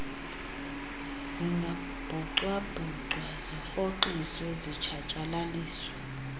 zingabhucabhucwa zirhoxiswe zitshatyalaliswe